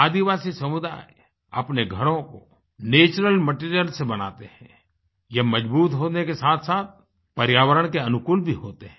आदिवासी समुदाय अपने घरों को नैचुरल मटीरियल से बनाते हैं ये मजबूत होने के साथसाथ पर्यावरण के अनुकूल भी होते हैं